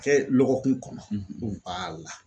Kɛ lɔgɔkun kɔnɔ b'a la